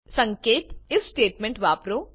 સંકેત IF statement વાપરો